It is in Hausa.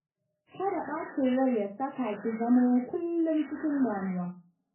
Kada bacin rai ya saka ki zamo kullum cikin damuwa